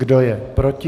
Kdo je proti?